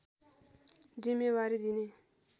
जिम्मेवारी दिने